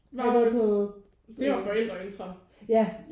Var det på? Øh. Ja